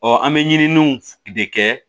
an bɛ ɲiniw de kɛ